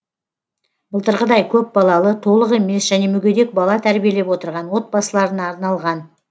былтырғыдай көпбалалы толық емес және мүгедек бала тәрбиелеп отырған отбасыларына арналған